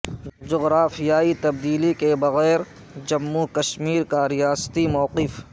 جغرافیائی تبدیلی کے بغیر جموں کشمیر کا ریاستی موقف